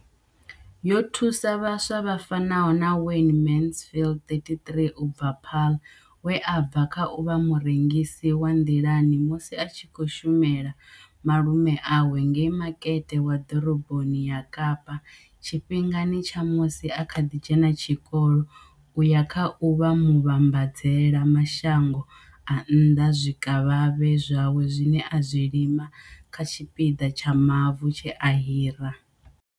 Yo thusa vhaswa vha fanaho na Wayne Mansfield 33 u bva Paarl, we a bva kha u vha murengisi wa nḓilani musi a tshi khou shumela malume awe ngei makete wa ḓoroboni ya Kapa tshifhingani tsha musi a kha ḓi dzhena tshikolo u ya kha u vha muvhambadzela mashango a nnḓa zwikavhavhe zwawe zwine a zwi lima kha tshipiḓa tsha mavu tshe a hira.